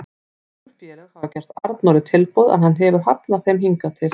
Nokkur félög hafa gert Arnóri tilboð en hann hefur hafnað þeim hingað til.